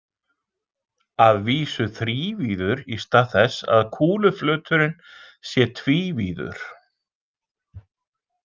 Að vísu þrívíður í stað þess að kúluflöturinn sé tvívíður.